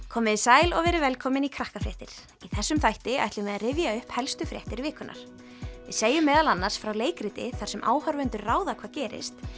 komið þið sæl og verið velkomin í Krakkafréttir í þessum þætti ætlum við að rifja upp helstu fréttir vikunnar við segjum meðal annars frá leikriti þar sem áhorfendur mega ráða hvað gerist